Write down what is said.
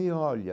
E olha,